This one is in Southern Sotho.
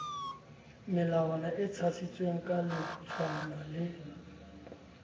melongwana e tshasitsweng kaletshwana le